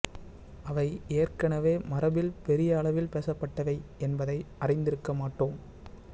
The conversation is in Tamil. அவை ஏற்கனவே மரபில் பெரிய அளவில் பேசப்பட்டவை என்பதை அறிந்திருக்க மாட்டோம்